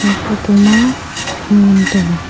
aa photo ma ham ngantaiga.